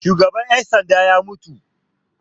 Shugaban 'yan sanda ya mutu.